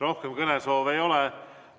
Rohkem kõnesoove ei ole.